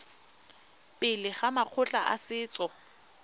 pele ga makgotla a setso